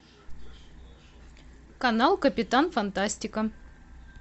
канал капитан фантастика